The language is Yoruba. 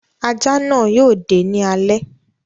Ajá náà yóò dé ní alé.